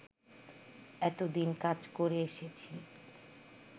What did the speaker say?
এতদিন কাজ করে এসেছি